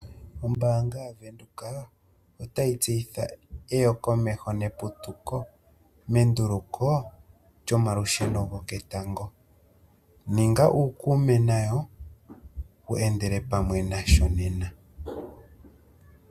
Ombaanga ya Windhoek otayi tseyitha eyokomeho neputuko menduluko lyomalusheno goketango. Ninga uukume nayo, wu endele pamwe nasho Nena.